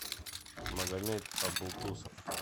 магомед абултусов